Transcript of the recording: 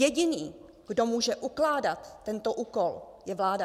Jediný, kdo může ukládat tento úkol, je vláda.